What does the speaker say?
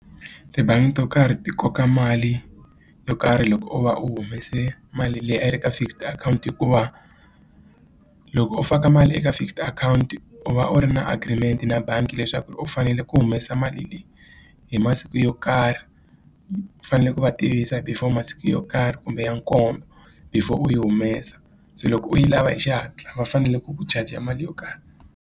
Tibangi to karhi ti koka mali yo karhi loko u va u humese mali leyi a yi ri ka fixed akhawunti hikuva loko u faka mali eka fixed akhawunti u va u ri na agreement na bangi leswaku u fanele ku humesa mali leyi hi masiku yo karhi u fanele ku va tivisa before masiku yo karhi kumbe ya nkombo before u yi humesa se loko u yi lava hi xihatla va fanele ku ku charger mali yo karhi.